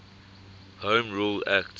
home rule act